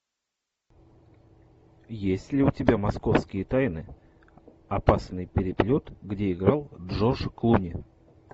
есть ли у тебя московские тайны опасный переплет где играл джордж клуни